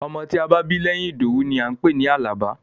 Ọmọ tí a bá bí lẹ́yìn Ìdòwú ni à ń pè ní Àlàbá.